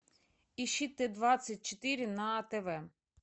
ищи т двадцать четыре на тв